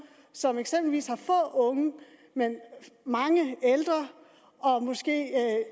som eksempelvis har få unge men mange ældre og måske